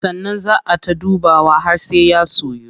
Sannan zaa ay ta dubawa har sai ya soyu.